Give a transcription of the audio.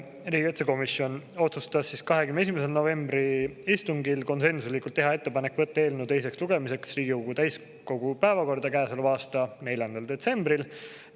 Riigikaitsekomisjon otsustas 21. novembri istungil konsensuslikult teha ettepaneku võtta eelnõu teiseks lugemiseks Riigikogu täiskogu päevakorda käesoleva aasta 4. detsembril.